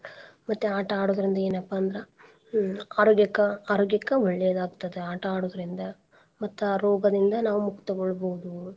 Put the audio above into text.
ಮತ್ತೆ ಆಟಾ ಆಡೋದ್ರಿಂದ ಏನ್ಪಾ ಅಂದ್ರ ಹ್ಮ್ ಆರೋಗ್ಯಕ್ಕ, ಆರೋಗ್ಯಕ್ಕ ಒಳ್ಳೇದ್ ಆಗ್ತದ ಆಟಾ ಆಡೋದ್ರಿಂದ ಮತ್ತ ರೋಗದಿಂದ ನಾವ್ ಮುಕ್ತ ಗೊಳ್ಬೋದು.